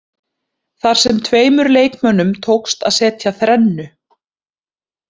Þar sem að tveimur leikmönnum tókst að setja þrennu.